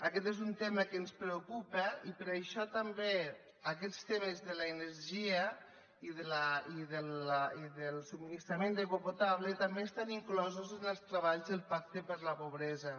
aquest és un tema que ens preocupa i per això també aquests temes de l’energia i del subministrament d’aigua potable també estan inclosos en els treballs del pacte contra la pobresa